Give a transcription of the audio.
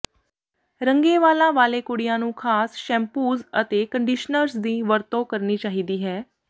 ਰੰਗੇ ਵਾਲਾਂ ਵਾਲੇ ਕੁੜੀਆਂ ਨੂੰ ਖਾਸ ਸ਼ੈਂਪੂਜ਼ ਅਤੇ ਕੰਡੀਸ਼ਨਰਜ਼ ਦੀ ਵਰਤੋਂ ਕਰਨੀ ਚਾਹੀਦੀ ਹੈ